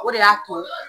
O de y'a to